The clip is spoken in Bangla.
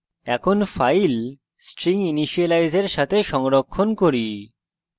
এখন file stringinitialize এর save সংরক্ষণ করি